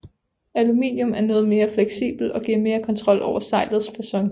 Aluminium er noget mere fleksibelt og giver mere kontrol over sejlets facon